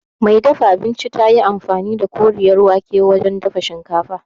Mai dafa abincin tayi amfani da Koriyar wake wurin dafa shinkafa